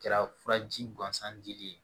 Kɛra furaji gansan dili ye